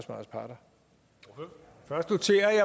lo